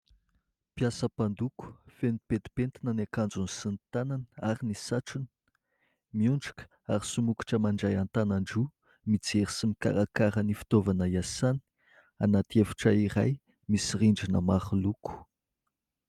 Mpiasa mpandoko, feno petipetina ny akanjony sy ny tanana ary ny satrony. Miondroka ary somokotra mandray an-tanana an-droa. Mijery sy mikarakaro ny fitovana hiasany anaty efitra iray misy rindrina maro loko.